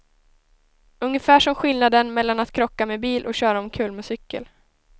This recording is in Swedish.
Ungefär som skillnaden mellan att krocka med bil och köra omkull med cykel.